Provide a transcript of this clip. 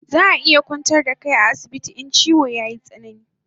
Zaa iya kwantar da kai a asibiti in chiwon yayi tsanani